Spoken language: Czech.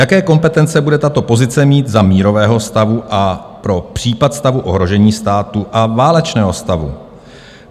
Jaké kompetence bude tato pozice mít za mírového stavu a pro případ stavu ohrožení státu a válečného stavu?